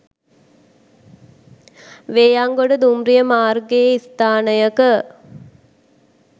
වේයන්ගොඩ දුම්රිය මාර්ගයේ ස්ථානයක